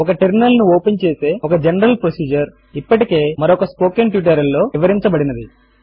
ఒక టెర్మినల్ ను ఓపెన్ చేసే ఒక జనరల్ ప్రొసిజర్ ఇప్పటికే మరొక స్పోకెన్ ట్యూటోరియల్ లో వివరించబడినది